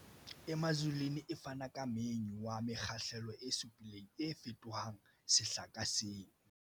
Emazulwini e fana ka menyu wa mekgahlelo e supileng, o fetohang sehla ka seng.